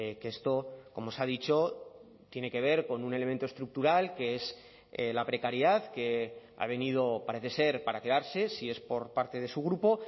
que esto como se ha dicho tiene que ver con un elemento estructural que es la precariedad que ha venido parece ser para quedarse si es por parte de su grupo